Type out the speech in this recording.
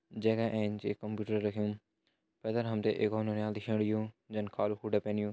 जैका एंच एक कंप्यूटर रख्युं पैथर हम तें एक और नौनियाल दिखेण लग्युं जैन कालू कोट पैन्युं।